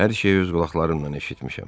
Hər şeyi öz qulaqlarımla eşitmişəm.